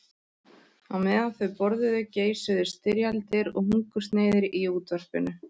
Á meðan þau borðuðu geisuðu styrjaldir og hungursneyðir í útvarpinu.